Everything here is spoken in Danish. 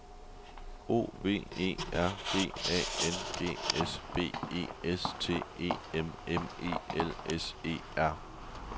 O V E R G A N G S B E S T E M M E L S E R